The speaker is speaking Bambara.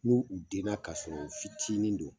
N'u denna ka sɔrɔ u fitinin don